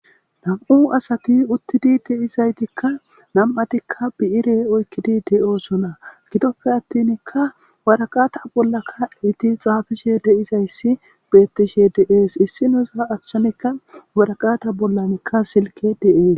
Nam'u asati uttidi deizaytikka nam'atikka bi'ire oykkidi de'oosona gitoppe attinkka waraqata bollaka iti xaafishe deizayssi bettishe deees issinosa achchanekka waraqata bollanikka silke de'ees.